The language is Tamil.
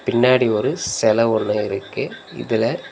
பின்னாடி ஒரு செல ஒன்னு இருக்கு இதுல--